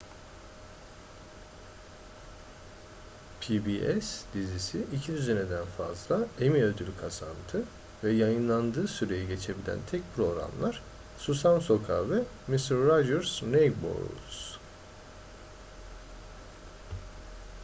pbs dizisi iki düzineden fazla emmy ödülü kazandı ve yayınlandığı süreyi geçebilen tek programlar susam sokağı ve mr rogers' neighborhood